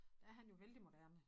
Der er han jo vældig moderne